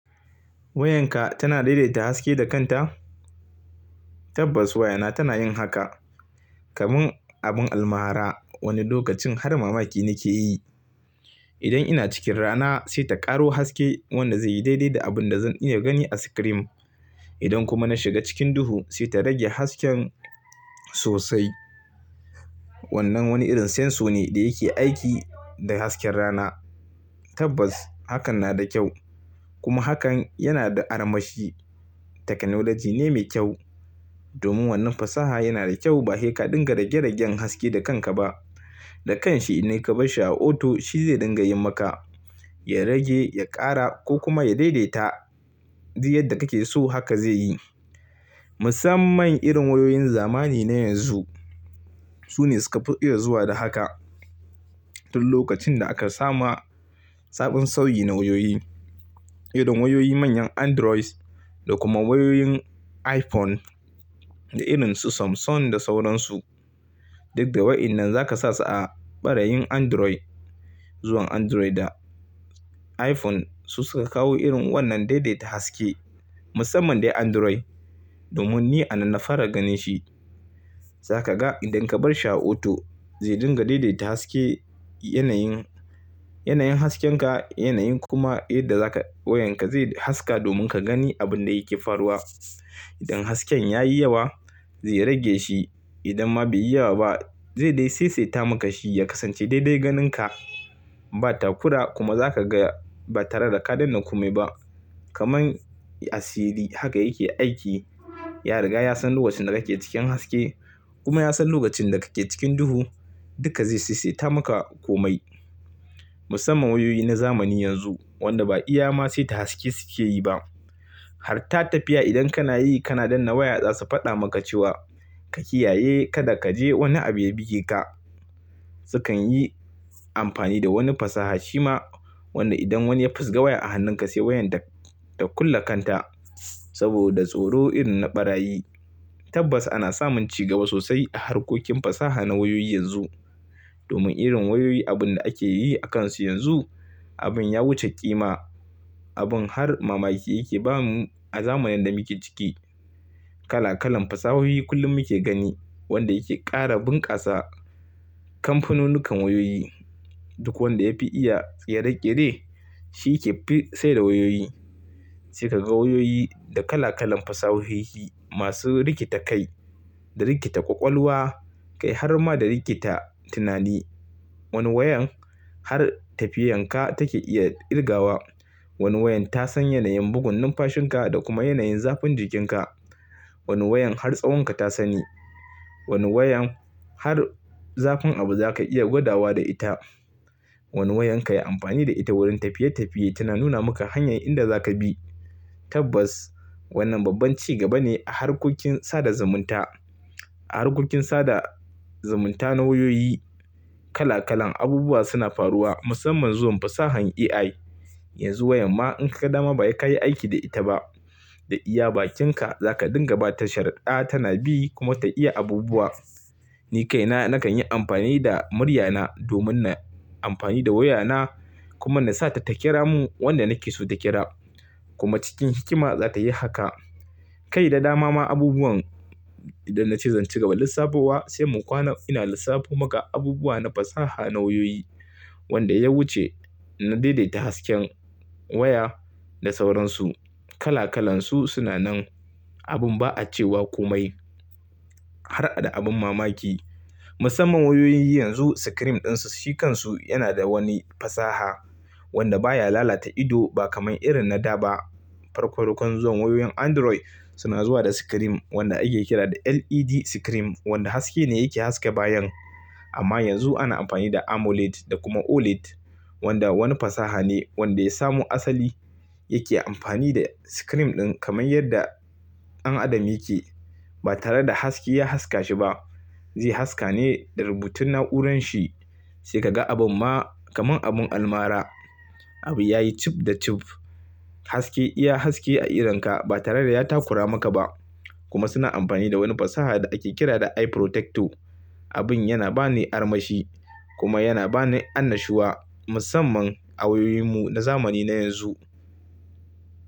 Wayanka tana daidaita haske da kanta? Tabbas wayana tana yin haka. Kaman abin almara, wani lokacin har mamaki nake yi. Idan ina cikin rana sai ta ƙaro haske wanda zai yi daidai da abin da zan iya gani a sikirim. Idan kuma na shiga cikin duhu sai ta rage hasken sosai. Wannan wani irin senso ne da yake aiki da hasken rana. Tabbas hakan na da kyau kuma hakan yana da armashi. Teknolaji ne mai kyau. Domin wannan fasaha yana da kyau ba he ka dinga rage-ragen haske da kanka ba. Da kanshi idan ka bashi a auto shi zai dinga yin maka, ya rage, ya ƙara ko kuma ya daidaita duk yadda kake so haka zai yi. Musamman irin wayoyin zamani na yanzu su ne suka fi iya zuwa da haka. Tun lokacin da aka sama sabon sauyi na wayoyi, irin wayoyi manyan Android da kuma wayoyin iPhone da irin su Samsung da sauransu. Duk da wayannan za ka sa su a ɓarayin Android, zuwan Android da iPhone su suka kawo irin wannan daidaita haske. Musamman dai Android, domin ni a nan na fara ganin shi. Za ka ga idan ka bar shi a auto zai dinga daidaita haske yanayin, yanayin hasken ka, yanayin kuma yadda za ka wayanka zai haska domin ka gani abin da yake faruwa. Idan hasken yayi yawa zai rage shi, idan ma bai yi yawa ba zai dai saisaita maka shi ya kasance daidai ganinka. Ba takura kuma za ka ga ba tare da ka danne komai ba. Kaman asiri haka yake aiki. Ya riga ya san lokacin da kake cikin haske kuma ya san lokacin da kake cikin duhu. Duka zai saisaita maka komai. Musamman wayoyi na zamani yanzu wanda ba iya ma saita haske suke yi ba. Har ta tafiya idan kana yi, kana danne waya za su faɗa maka cewa ka kiyaye kada ka je wani abu ya buge ka. Sukan yi amfani da wani fasaha shima wanda idan wani ya fusga waya a hannunka sai wayan ta kulle kanta saboda tsoro irin na ɓarayi. Tabbas ana samun cigaba sosai a harkokin fasaha na wayoyi yanzu. Domin irin wayoyi abun da ake yi akansu yanzu abin ya wuce ƙima. Abin har mamaki yake ba mu a zamanin da muke ciki. Kala-kalan fasahohi kullum muke gani wanda yake ƙara bunƙasa. Kamfanonikan wayoyi duk wanda ya fi iya kere kere shi yake sai da wayoyi. Sai ka ga wayoyi da kala-kalan fasahohi masu rikita kai, da rikita ƙwaƙwalwa, kai har ma da rikita tunani. Wani wayan har tafiyar ka take iya ƙirgawa. Wani wayan ta san yanayin bugun numfashin ka da kuma yanayin zafin jikin ka. Wani wayan har tsawon ka ta sani. Wani wayan har zafin abu za ka iya gwada wa da ita. Wani wayan ka yi amfani da ita wurin tafiye-tafiye tana nuna maka hanyar inda za ka bi. Tabbas wannan babban cigaba ne a harkokin sada zumunta, a harkokin sada zumunta na wayoyi. Kala-kalan abubuwa suna faruwa musamman zuwan fasahan AI. Yanzu wayar ma in kaga dama ba he ka yi aiki da ita ba. Da iya bakinka za ka dinga ba ta sharudda tana bi kuma ta iya abubuwa. Ni kaina nakan yi amfani da muryana domin na amfani da wayana kuma na sa ta ƙira mun wanda nake so ta ƙira. Kuma cikin hikima za ta yi haka. Kai da dama ma abubuwan idan na ce zan ci gaba da lissafo wa sai mu kwana ina lissafo maka abubuwa na fasaha na wayoyi wanda ya wuce na daidaita hasken waya da sauransu. Kala-kalansu suna nan. Abin ba a cewa komai. Har da abin mamaki. Musamman wayoyin yanzu sikirim ɗinsu, shi kansu yana da wani fasaha wanda baya lalata ido ba kamar irin na da ba. Farkon-farkon zuwan wayoyin Android suna zuwa da sikirim wanda ake kira da LED sikirim wanda haske ne yake haske bayan. Amma yanzu ana amfani da Amoled da kuma Oled wanda wani fasaha ne wanda ya samu asali yake amfani da sikirim ɗin kamar yadda dan adam yake. Ba tare da haske ya haska shi ba. Zai haska ne da rubutun na'uranshi. Sai ka ga abin ma kamar abin almara. Abu yayi cib da cib. Haske iya haske a irinka ba tare da ya takura maka ba. Kuma suna amfani da wani fasaha da ake kira da eye protector. Abin yana ba ni armashi kuma yana ba ni annashuwa musamman a wayoyinmu na zamani na yanzu.